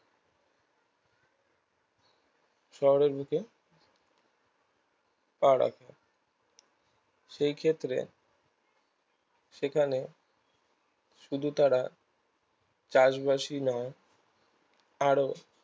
শহরের বুকে পা রাখে সেই ক্ষেত্রে সেখানে শুধু তারা চাষবাসই নয় আরো